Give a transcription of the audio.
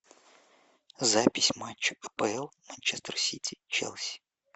запись матча апл манчестер сити челси